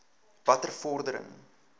watter vordering